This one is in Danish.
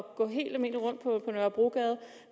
gå helt almindeligt rundt på nørrebrogade